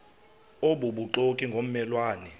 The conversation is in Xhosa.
obubuxoki ngomme lwane